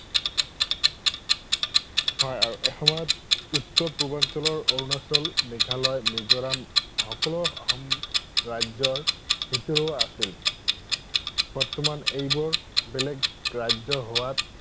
হয় আৰু এসময়ত উত্তৰ পূৰ্বাঞ্চলৰ অৰুণাচল, মেঘালয়, মিজোৰাম সকলো অসম ৰাজ্যৰ ভিতৰুৱা আছিল। বৰ্তমান এইবোৰ বেলেগ ৰাজ্য হোৱাত